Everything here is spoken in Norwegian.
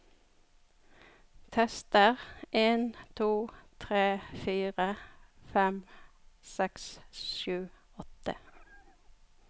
Tester en to tre fire fem seks sju åtte